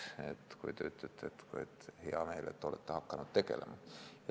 See oli selle kohta, et teil on hea meel, et ma olen hakanud sellega tegelema.